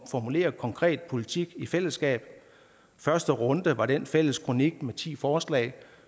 formulere konkret politik i fællesskab første runde var den fælles kronik med ti forslag